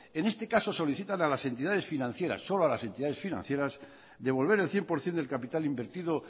en este caso solicitan a las entidades financieras solo a las entidades financieras devolver el cien por ciento del capital invertido